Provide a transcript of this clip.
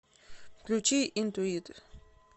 включи интуит